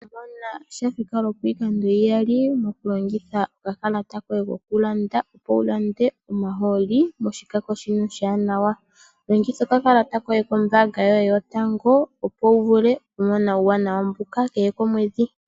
Ngele osha thika lwopiikando iiyali tolongitha oka kalata koye kokulanda opo wu lande omahooli moshikako shika oshi wanawa. Longitha oka kalata koye koombaanga yotango opo wu vule okumona uuwanawa mbuka kehe komwedhi.